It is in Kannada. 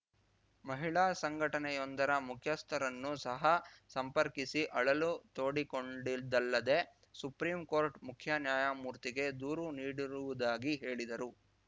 ಮಹಿಳಾ ಸಂಘಟನೆಯೊಂದರ ಮುಖ್ಯಸ್ಥರನ್ನು ಸಹ ಸಂಪರ್ಕಿಸಿ ಅಳಲು ತೋಡಿಕೊಂಡಿದಲ್ಲದೆ ಸುಪ್ರೀಂ ಕೋರ್ಟ್‌ ಮುಖ್ಯ ನ್ಯಾಯಮೂರ್ತಿಗೆ ದೂರು ನೀಡಿರುವುದಾಗಿ ಹೇಳಿದ್ದರು